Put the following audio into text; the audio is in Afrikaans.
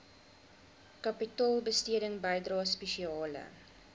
kapitaalbesteding bydrae spesiale